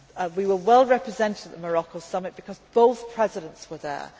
I will be at some. We were well represented at the Morocco Summit because both